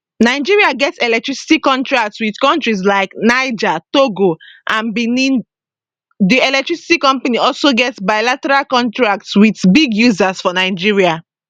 nigeria get electricity contracts wit kontries like niger togo and benin di electricity companies also get bilateral contracts wit big users for nigeria